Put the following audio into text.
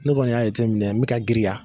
Ne kɔni y'a jateminɛ n bɛ ka girinya.